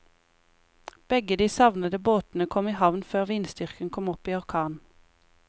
Begge de savnede båtene kom i havn før vindstyrken kom opp i orkan.